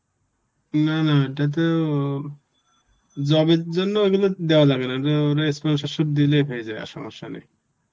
না না এটা তো job এর জন্য ঐগুলো দেওয়া লাগে না ওরা sponsorship দিলেই পেয়ে যাবে আর সমস্যা নেই.